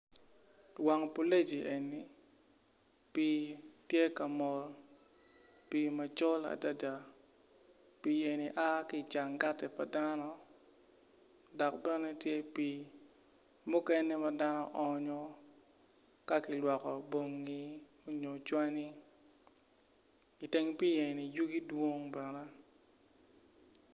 Wang pulegi eni pii tye ka mol pii macol adada pii eni a ki i canggati pa dano dok bene tye pii mukene ma dano oonyo ka kilwokko bongi nyo canni iteng pii eni yugi dwong bene